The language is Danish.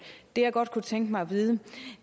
det jeg godt kunne tænke mig at vide